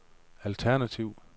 alternativ